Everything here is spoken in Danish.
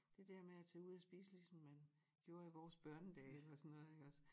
Det dér med at tage ud at spise ligesom man gjorde i vores børnedage eller sådan noget iggås